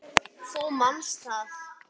Þú manst það.